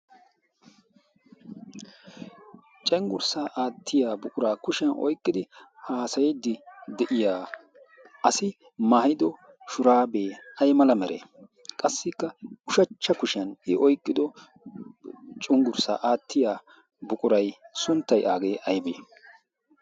cenggurssaa aattiya buquraa kushiyan oyqqidi haasayiddi de7iya asi maayido shuraabee ay mala meree? Qassikka ushachcha kushiyan i oyqqido cenggurssaa aattiya buqura sunttay aybbe?